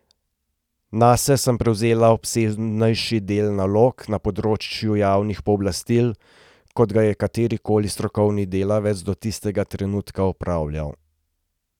Nase sem prevzela obsežnejši del nalog na področju javnih pooblastil, kot ga je katerikoli strokovni delavec do tistega trenutka opravljal.